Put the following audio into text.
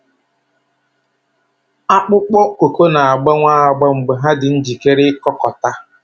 Akpụkpọ kooko na-agbanwe agba mgbe ha dị njikere ịkụkọta.